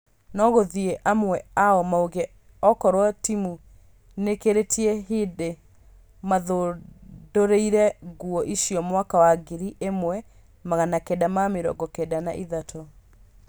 Nogũthiĩ amwe ao mauge okorwo timũ nĩkĩrĩtie hĩndĩ mathundũrire nguo icio mwaka wa ngiri ĩmwe magana kenda ma mĩrongo kenda na ithatũ